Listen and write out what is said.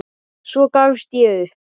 Svo gafst ég upp.